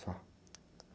Só?